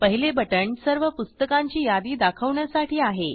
पहिले बटण सर्व पुस्तकांची यादी दाखवण्यासाठी आहे